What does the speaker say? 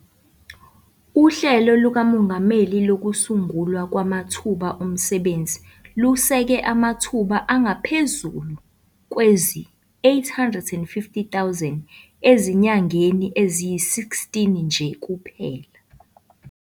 UHlelo lukaMongameli Lokusungulwa Kwamathuba Omsebenzi luseke amathuba angaphezulu kwezi-850 000 ezinyangeni eziyi-16 nje kuphela.